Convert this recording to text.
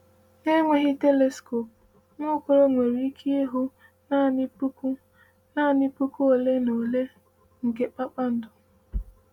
“Na-enweghị teliskop, Nwaokolo nwere ike ịhụ naanị puku naanị puku ole na ole nke kpakpando.”